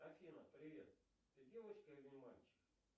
афина привет ты девочка или мальчик